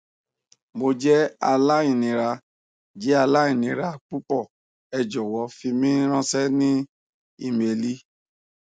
mo jẹ alainira jẹ alainira pupọ ẹ jọwọ fi mi ranṣẹ ni imeeli